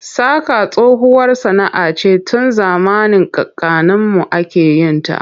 Saƙa tsohuwar sana'a ce tun zamanin kakanninmu ake yin ta.